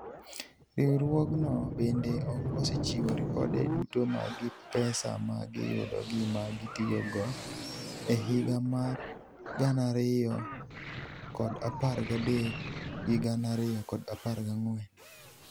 Riwruogno benide ok osechiwo ripode duto mag pesa ma giyudo gi ma gitiyogo e higa mar 2013/14.